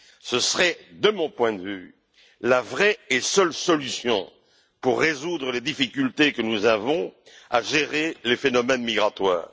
Ce serait, de mon point de vue, la vraie et seule solution pour résoudre les difficultés que nous avons à gérer les phénomènes migratoires.